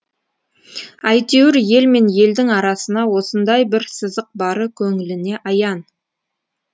әйтеуір ел мен елдің арасына осындай бір сызық бары көңіліне аян